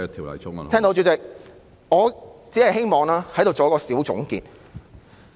我聽到，主席，我只希望在此作一個小總結。